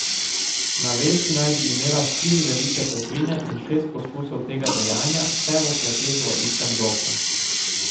Na vesti naj bi imela štiri velike tatvine in šest poskusov tega dejanja, vse v kleteh v istem bloku.